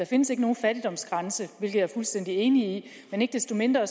findes nogen fattigdomsgrænse hvilket jeg er fuldstændig enig i men ikke desto mindre